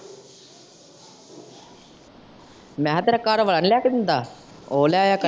ਮੈਂ ਕਿਹਾ ਤੇਰਾ ਘਰਵਾਲਾ ਨੀ ਲਿਆ ਕਿ ਦਿੰਦਾ, ਉਹ ਲਾਇ ਆਯਾ ਕਰੇ।